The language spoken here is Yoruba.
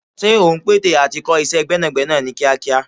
Ṣé ò ń pète à ti kọ́ iṣẹ́ gbẹ́nàgbẹ́nà ní kíákíá?